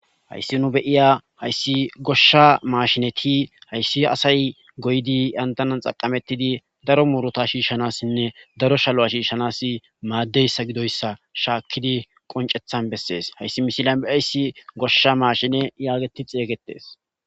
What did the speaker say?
hayssi nu beyiya hayssi goshsha maashineti hayssi asay goydi yantanan xaqamettidi daro muruta shiishshanassinne daro shalu7a shiishshanas maaddeyssa gidoyssa shaakkidi qoncethan bessees hayssi mishilan beyayssi goshsha maashine yaageti xeeygetes